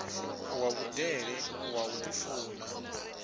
wa vhudele wa u ḓifuna